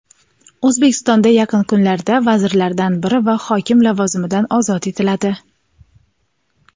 O‘zbekistonda yaqin kunlarda vazirlardan biri va hokim lavozimidan ozod etiladi.